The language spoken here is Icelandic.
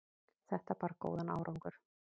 Þetta bar góðan árangur.